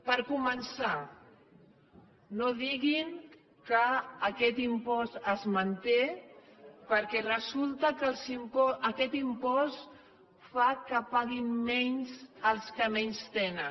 per començar no diguin que aquest impost es manté perquè resulta que aquest impost fa que paguin menys els que menys tenen